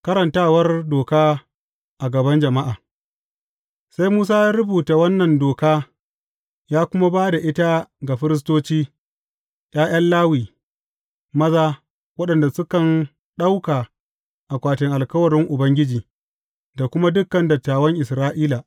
Karantawar doka a gaban jama’a Sai Musa ya rubuta wannan doka ya kuma ba da ita ga firistoci, ’ya’yan Lawi maza, waɗanda sukan ɗauka akwatin alkawarin Ubangiji, da kuma dukan dattawan Isra’ila.